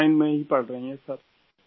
on line میں ہی پڑھ رہی ہیں سر